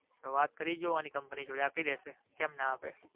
તો વાત કરી જોવાની company જોડે આપીદેશે કેમ ના આપે.